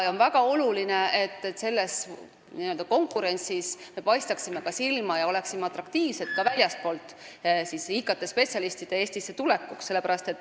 On väga oluline, et me selles konkurentsis silma paistaksime ja oleksime atraktiivsed, et ka väljastpoolt IT-spetsialiste Eestisse tuleks.